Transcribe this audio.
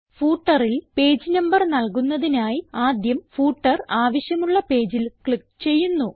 footerൽ page number നൽകുന്നതിനായി ആദ്യം footer ആവശ്യമുള്ള പേജിൽ ക്ലിക്ക് ചെയ്യുന്നു